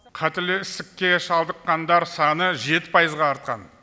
қатерлі ісікке шалдыққандар саны жеті пайызға артқан